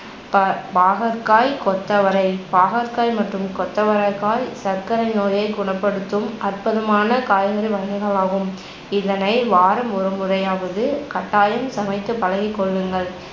ப~ பாகற்காய், கொத்தவரை பாகற்காய் மற்றும் கொத்தவரைக்காய் சர்க்கரை நோயைக் குணப்படுத்தும் அற்புதமான காய்கறி வகைகள் ஆகும் இதனை வாரம் ஒருமுறையாவது கட்டாயம் சமைத்துப் பழகிக்கொள்ளுங்கள்